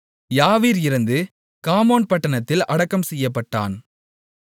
யாவீர் இறந்து காமோன் பட்டணத்தில் அடக்கம் செய்யப்பட்டான்